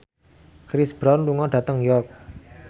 Chris Brown lunga dhateng York